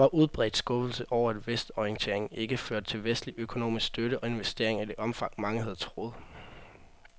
Og der var udbredt skuffelse over, at vestorienteringen ikke førte til vestlig økonomisk støtte og investeringer i det omfang, mange havde troet.